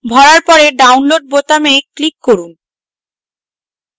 ভরার পরে download বোতামে click করুন